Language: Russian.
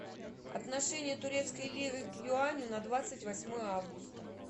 отношение турецкой лиры к юаню на двадцать восьмое августа